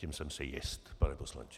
Tím jsem si jist, pane poslanče.